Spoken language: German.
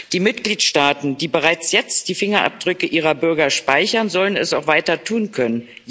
Die Mitgliedstaaten, die bereits jetzt die Fingerabdrücke ihrer Bürger speichern, sollen es auch weiter tun können.